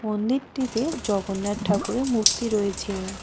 মন্দিরটিতে জগন্নাথ ঠাকুরের মূর্তি রয়েছে।